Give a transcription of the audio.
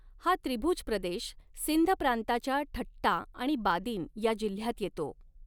हा त्रिभुज प्रदेश सिंध प्रांताच्या ठट्टा आणि बादिन या जिल्ह्यांत येतो.